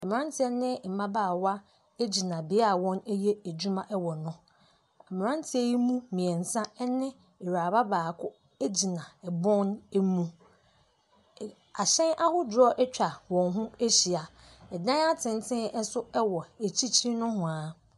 Mmeranteɛ mmabaawa gyina bea a wɔyɛ adwuma wɔ no, mmeranteɛ yi mu mmiɛnsa ne awuraba baako gyina bɔn mu, ahyɛn ahodoɔ atwa wɔn ho ahyia. Adan atenten nso wɔ akyikyiri nohoa.